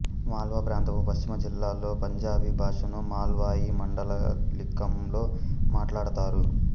మాళ్వా ప్రాంతపు పశ్చిమ జిల్లాల్లో పంజాబీ భాషను మాళ్వాయి మాండలీకంలో మాట్లాడతారు